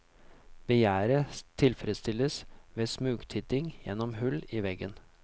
Begjæret tilfredsstilles ved smugtitting gjennom hull i veggen.